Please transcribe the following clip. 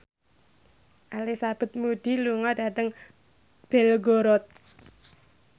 Elizabeth Moody lunga dhateng Belgorod